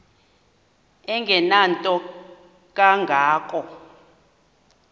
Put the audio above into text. engenanto kanga ko